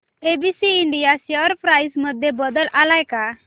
ABC India share price मध्ये बदल आलाय का